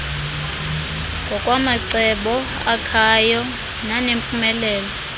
ngokwamacebo akhayo nanempumelelo